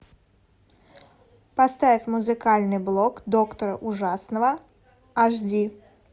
поставь музыкальный блок доктора ужасного аш ди